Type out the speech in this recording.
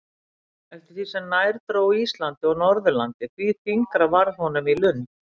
Eftir því sem nær dró Íslandi og Norðurlandi, því þyngra varð honum í lund.